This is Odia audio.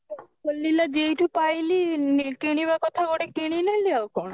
ଖୋଲିଲା ଯେଇଠୁ ପାଇଲି କିଣିବା କଥା ଗୋଟେ କିଣିନେଲି ଆଉ କଣ